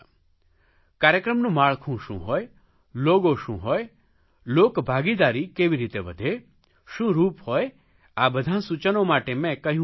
કાર્યક્રમનું માળખું શું હોય લોગો શું હોય લોકભાગીદારી કેવી રીતે વધે શું રૂપ હોય આ બધાં સૂચનો માટે મેં કહ્યું હતું